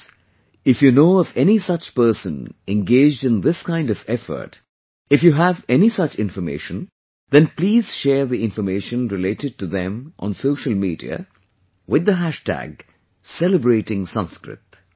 Friends, if you know of any such person engaged in this kind of effort, if you have any such information, then please share the information related to them on social media with the hashtag Celebrating Sanskrit